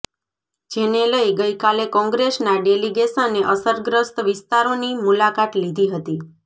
જેને લઇ ગઇકાલે કોંગ્રેસના ડેલિગેશને અસરગ્રસ્ત વિસ્તારોની મુલાકાત લીધી હતી